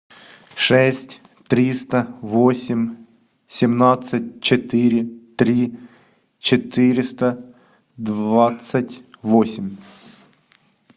шесть триста восемь семнадцать четыре три четыреста двадцать восемь